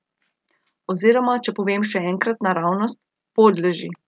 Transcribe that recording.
Oziroma če povem še enkrat naravnost, podleži.